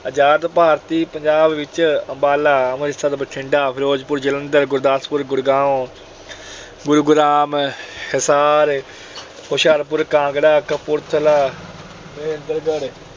ਆਜਾਦ ਭਾਰਤੀ ਪੰਜਾਬ ਵਿੱਚ ਅੰਬਾਲਾ, ਅੰਮ੍ਰਿਤਸਰ, ਬਠਿੰਡਾ, ਫਿਰੋਜਪੁਰ, ਜਲੰਧਰ, ਗੁਰਦਾਸਪੁਰ, ਗੁੜਗਾਉਂ, ਗੁਰੂਗ੍ਰਾਮ, ਹਿਸਾਰ, ਹੁਸ਼ਿਆਰਪੁਰ, ਕਾਂਗੜਾ, ਕਪੂਰਥਲਾ, ਮਹੇਂਦਰਗੜ੍ਹ